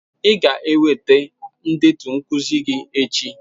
Ị ga-eweta ndetu nkuzi gi echi.